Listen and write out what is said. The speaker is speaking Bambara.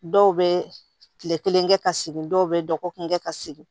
Dɔw bɛ tile kelen kɛ ka segin dɔw bɛ dɔgɔkun kɛ ka segin